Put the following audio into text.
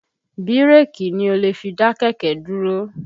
Bírèkì ni o lè fi dá kẹ̀kẹ́ dúró